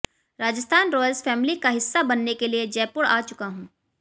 Rajasthan Royals family का हिस्सा बनने के लिए जयपुर आ चुका हूं